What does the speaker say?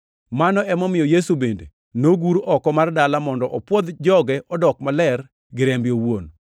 Mano emomiyo Yesu bende nogur oko mar dala mondo opwodh joge odok maler gi rembe owuon.